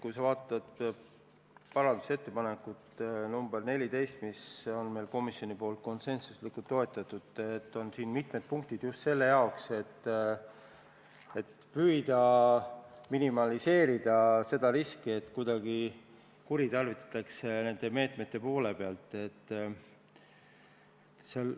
Kui sa vaatad parandusettepanekut nr 14, mida komisjon on konsensuslikult toetanud, siis selles on mitu punkti just selle jaoks, et minimaliseerida riski, et neid meetmeid võidakse kuidagi kuritarvitada.